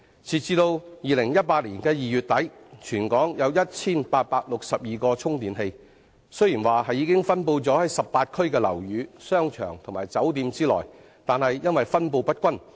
截至2018年2月底，全港有 1,862 個充電器，雖然已分布在18區的樓宇、商場和酒店內，但卻分布不均。